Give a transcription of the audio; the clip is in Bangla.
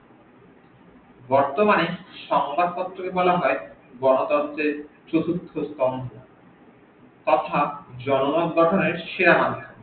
বর্তমানে সংবাদ পত্র কে বলা হই গন তন্ত্রের চতুর্থ স্তম্ভ তথা জনগন গঠনের সেরা মাদ্ধম